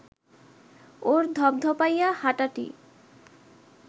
ওর ধপধপাইয়া হাঁটাটি